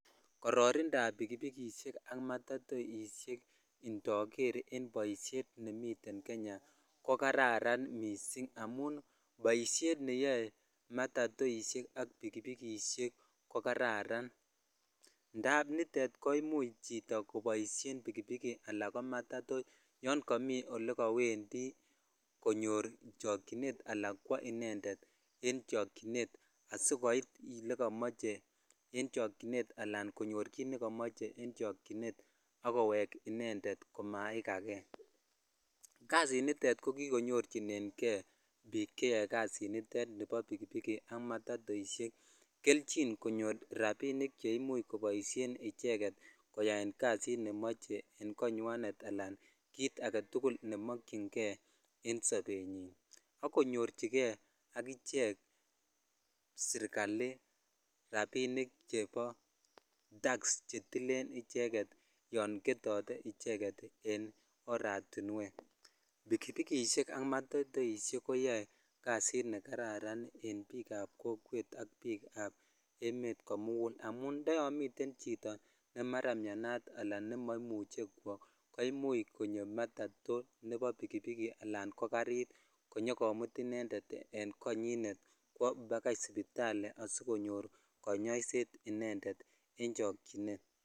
Kororindab pikipikishek ak matatoishek indoker en boishet nemiten Kenya ko kararan mising amun boishet neyoe matatoishek ak pikipikishek ko kararan ndab nitet koimuch koboishen chito pikipiki anan ko matatoishek yoon komii olekowendi konyor chokyinet alaan kwoo inendet en chokyinet asikoit elekomoche en chokyinet alaan konyor kiiit nekomoche en chokyinet ak kowek inendet komaikake, kasinitet ko kikonyorchineng'e biik cheyoe kasinitet nebo pikipiki ak matatoishek kelchin konyor rabinik cheimuche koboishen icheket koyaen kasit nemoche en konywanet alaan kiit aketukul nemokying'e en sobenyin ak konyorchike akichek sirikali rabinik chebo tax chetilen icheket yoon ketote icheket en oratinwek, pikipikishek ak matatoishek koyoe kasit nekararan en biikab kokwet ak biikab emet komukul amun ndoyon miten chito nemara mianat alaan nemara moimuche kwoo koimuch konyo matato nebo bikibiki alaan ko karit konyokomut inendet en konyinet kwoo bakai sipitali asikonyor konyoiset inendet en chokyinet.